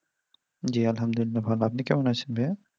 জি আলহামদুলিল্লাহ, ভালো, আপনি কেমন আছেন ভাইয়া?